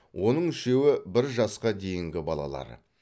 оның үшеуі бір жасқа дейінгі балалар